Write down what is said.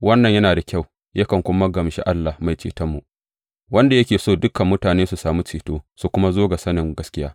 Wannan yana da kyau, yakan kuma gamshi Allah Mai Cetonmu, wanda yake so dukan mutane su sami ceto su kuma zo ga sanin gaskiya.